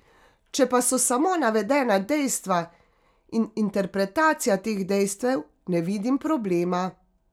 Če pa so samo navedena dejstva in interpretacija teh dejstev, ne vidim problema.